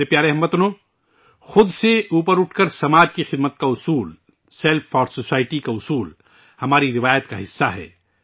میرے پیارے اہل وطن، اپنی ذات سے بالاتر ہوکر سماج کی خدمت کا منتر، سیلف فار سوسائٹی کا منتر، ہماری تہذیب کا حصہ ہے